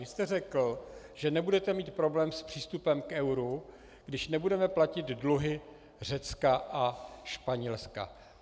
Vy jste řekl, že nebudete mít problém s přístupem k euru, když nebudeme platit dluhy Řecka a Španělska.